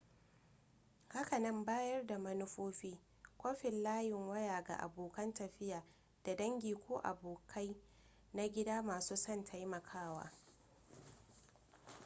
hakanan bayar da manufofi / kwafin layin waya ga abokan tafiya da dangi ko abokai na gida masu son taimakawa